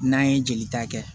N'an ye jeli ta kɛ